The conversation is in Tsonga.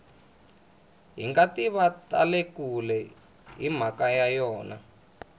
hingativa tale kule himhaka ya yona